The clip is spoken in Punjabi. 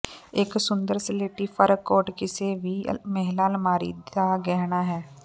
ਇੱਕ ਸੁੰਦਰ ਸਲੇਟੀ ਫਰਕ ਕੋਟ ਕਿਸੇ ਵੀ ਮਹਿਲਾ ਅਲਮਾਰੀ ਦਾ ਗਹਿਣਾ ਹੈ